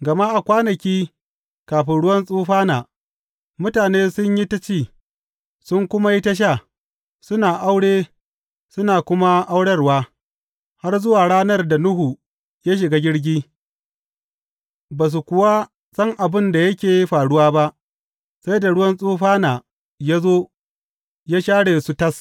Gama a kwanaki kafin ruwan tsufana, mutane sun yi ta ci, sun kuma yi ta sha, suna aure, suna kuma aurarwa, har zuwa ranar da Nuhu ya shiga jirgi; ba su kuwa san abin da yake faruwa ba sai da ruwan tsufana ya zo ya share su tas.